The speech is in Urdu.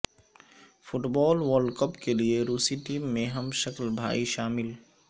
فٹبال ورلڈ کپ کیلئے روسی ٹیم میں ہم شکل بھائی شامل